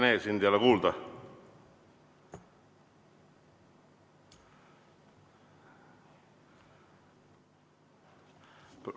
Hea Rene, sind ei ole kuulda.